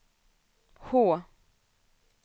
H